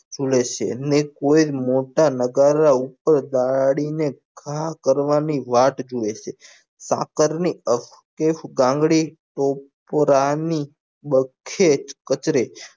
જુલે છે અને કોઈ એક મોટા નગારા ઉપર દાદી ને ઘા કરવા ની વાટ જોવે છ સાકાર ની એક ગાંગડી ટોપરા ની બખેજ કચરે